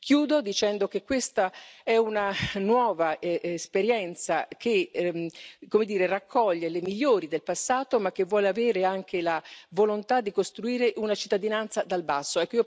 Chiudo dicendo che questa è una nuova esperienza che raccoglie le migliori del passato, ma che vuole avere anche la volontà di costruire una cittadinanza dal basso.